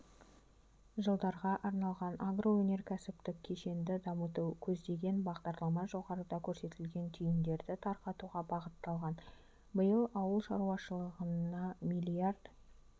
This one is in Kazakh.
жылдарға арналған агроөнеркәсіптік кешенді дамытуды көздеген бағдарлама жоғарыда көрсетілген түйіндерді тарқатуға бағытталған биыл ауыл шаруашылығына миллиард